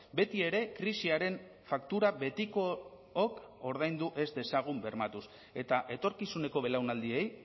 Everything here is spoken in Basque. beti ere krisiaren faktura betikook ordaindu ez dezagun bermatuz eta etorkizuneko belaunaldiei